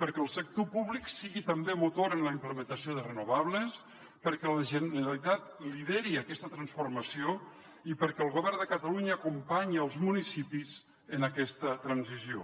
perquè el sector públic sigui també motor en la implementació de renovables perquè la generalitat lideri aquesta transformació i perquè el govern de catalunya acompanyi els municipis en aquesta transició